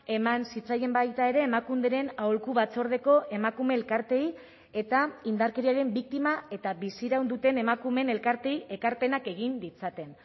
eman zitzaien baita ere emakunderen aholku batzordeko emakume elkarteei eta indarkeriaren biktima eta biziraun duten emakumeen elkarteei ekarpenak egin ditzaten